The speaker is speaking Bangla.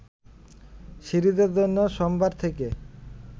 সিরিজের জন্য সোমবার থেকে